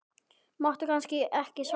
Máttu kannski ekki svara því?